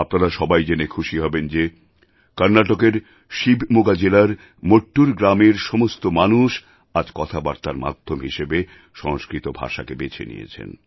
আপনারা সবাই জেনে খুশি হবেন যে কর্ণাটকের শিবমোগা জেলার মট্টুর গ্রামের সমস্ত মানুষ আজ কথাবার্তার মাধ্যম হিসাবে সংস্কৃত ভাষাকে বেছে নিয়েছেন